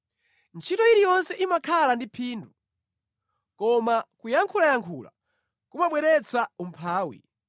Ntchito iliyonse imakhala ndi phindu, koma kuyankhulayankhula kumabweretsa umphawi.